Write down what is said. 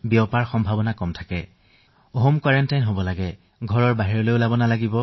দ্বিতীয়তে বুজাইছো যে তেওঁলোকে ঘৰতে থাকিব লাগিব বাহিৰলৈ যাব নোৱাৰে